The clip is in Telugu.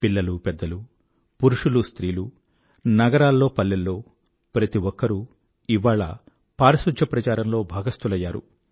పిల్లలుపెద్దలూ పురుషులు స్త్రీలు నగరాల్లో పల్లెల్లో ప్రతిఒక్కరూ ఇవాళ పారిశుధ్య ప్రచారంలో భాగస్థులయ్యారు